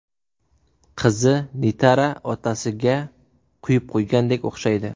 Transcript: Qizi Nitara otasiga quyib qo‘ygandek o‘xshaydi.